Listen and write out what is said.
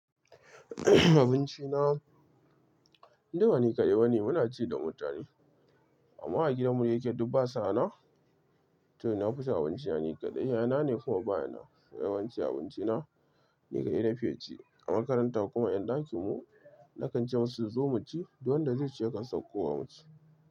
Abinci na, duk bani kaɗai ba ne muna ci da mutane. A mma a gidanmu da yake duk ba sunan, toh na fi cin abinci na ni kaɗai. Yana ne kuma ba yana so yawanci abinci na ni kaɗai na fi ci. A makaranta kuma 'yan ɗakinmu! Na kan ce masu su zo mu ci, duk wanda zai ce ya kan sauko wa mu ci.